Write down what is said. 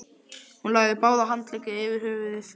Hún lagði báða handleggina yfir höfuðið.